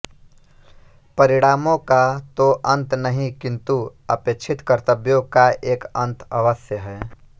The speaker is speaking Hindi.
परिणामों का तो अंत नहीं किंतु अपेक्षित कर्तव्यों का एक अंत अवश्य है